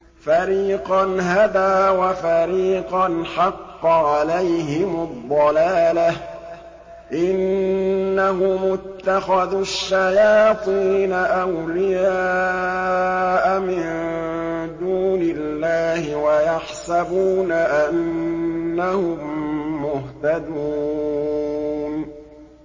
فَرِيقًا هَدَىٰ وَفَرِيقًا حَقَّ عَلَيْهِمُ الضَّلَالَةُ ۗ إِنَّهُمُ اتَّخَذُوا الشَّيَاطِينَ أَوْلِيَاءَ مِن دُونِ اللَّهِ وَيَحْسَبُونَ أَنَّهُم مُّهْتَدُونَ